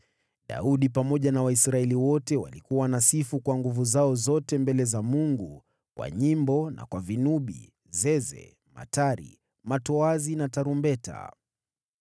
Daudi pamoja na Waisraeli wote walikuwa wanasifu kwa nguvu zao zote mbele za Mungu, kwa nyimbo na kwa vinubi, zeze, matari, matoazi na tarumbeta.